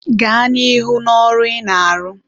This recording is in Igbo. gaa n'ihu n'ọrụ ị na-arụ.